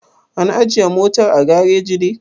An ajiye motar a gareji ne?